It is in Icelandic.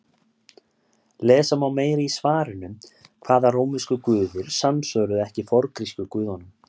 Lesa má meira í svarinu Hvaða rómversku guðir samsvöruðu ekki forngrísku guðunum?